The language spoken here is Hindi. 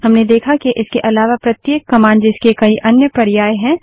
हमने देखा के इसके अलावा प्रत्येक कमांड जिसके कई अन्य पर्यायऑप्शन है